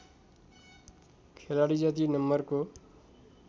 खेलाडी जति नम्बरको